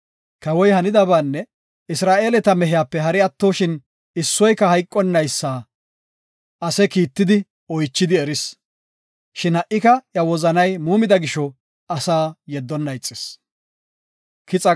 Kawoy hanidabaanne Isra7eeleta mehiyape hari attoshin issoyka hayqonaysa ase kiittidi, oychidi eris. Shin ha77ika iya wozanay muumida gisho asaa yeddonna ixis.